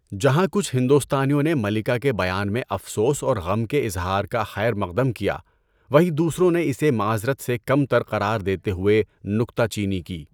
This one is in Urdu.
جہاں کچھ ہندوستانیوں نے ملکہ کے بیان میں افسوس اور غم کے اظہار کا خیر مقدم کیا، وہیں دوسروں نے اسے معذرت سے کم تر قرار دیتے ہوئے نکتہ چینی کی۔